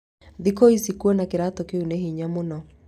Thikũ ici kũona kĩratũ kĩu nĩ hinya mũno